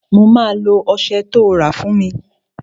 Mo máa lo ọsẹ tó rà fún mi